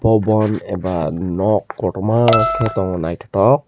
o bon a ba nog kotoma ke tongo naitotok.